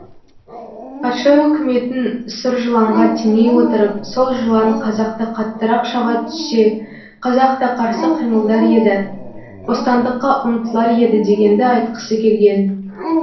патша өкіметін сұр жыланға теңей отырып сол жылан қазақты қаттырақ шаға түссе қазақ та қарсы қимылдар еді бостандыққа ұмтылар еді дегенді айтқысы келген